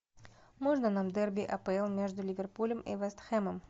можно нам дерби апл между ливерпулем и вест хэмом